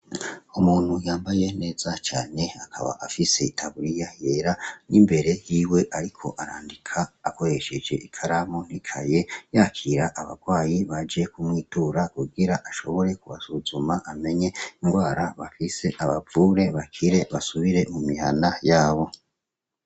Umuntu yambaye neza cane, akaba afise itaburiya yera, n'imbere yiwe ariko arandika, akoresheje ikaramu n'ikaye, yakira abarwayi baje kumwitura, kugira ashobore kubasuzuma amenye ingwara bafise abavure bakire basubire mu mihana yabo.